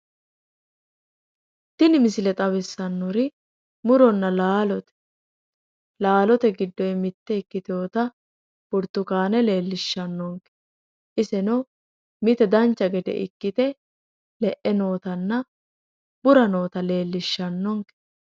Tini misile xawissannori muronna laalote laalote giddonni mitte ikkitinota burtukaanete leellishshannonke iseno mite dancha gede ikkite le'e nootanna bura noota leellishshannonke.